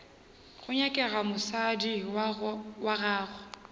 go nyakega mosadi wa gago